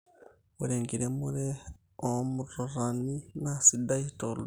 Ore enkiremero oo matutani naa sidai tooldonyo